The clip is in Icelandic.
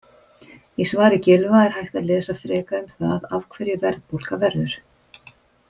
Í svari Gylfa er hægt að lesa frekar um það af hverju verðbólga verður.